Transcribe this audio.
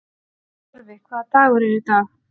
Torfi, hvaða dagur er í dag?